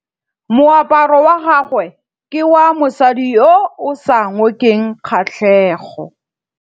Moaparô wa gagwe ke wa mosadi yo o sa ngôkeng kgatlhegô.